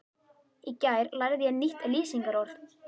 Í gær lærði ég nýtt lýsingarorð.